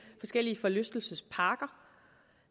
forskellige forlystelsesparker